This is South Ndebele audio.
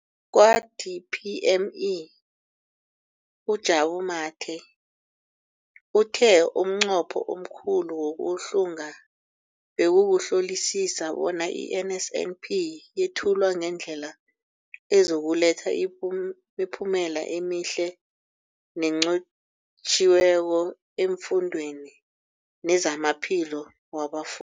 Kwa-DPME, uJabu Mathe, uthe umnqopho omkhulu wokuhlunga bekukuhlolisisa bona i-NSNP yethulwa ngendlela ezokuletha imiphumela emihle nenqotjhiweko efundweni nezamaphilo wabafu